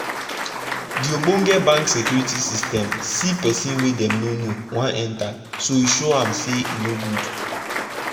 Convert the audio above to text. de ogbonge bank security system see say person wey dem no know wan enter so e show am say e no good.